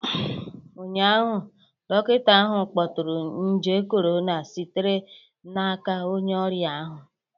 Ụnyaahụ, dọkịta ahụ kpọtụrụ nje corona sitere n'aka onye ọrịa ahụ